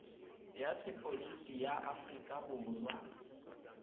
ya sepodisi ya aforika borwa